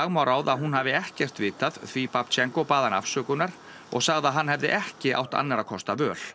má ráða að hún hafi ekkert vitað því bað hana afsökunar og sagði að hann hefði ekki átt annarra kosta völ